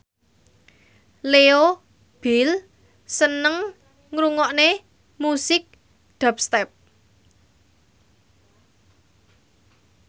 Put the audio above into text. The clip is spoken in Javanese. Leo Bill seneng ngrungokne musik dubstep